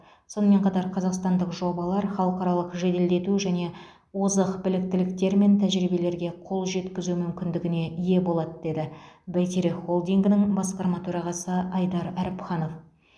сонымен қатар қазақстандық жобалар халықаралық жеделдету және озық біліктіліктер мен тәжірибелерге қол жеткізу мүмкіндігіне ие болады деді бәйтерек холдингінің басқарма төрағасы айдар әріпханов